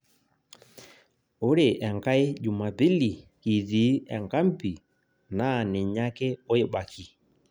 Ore enkai Jumapili kitii enkambi naa ninye ake oibaki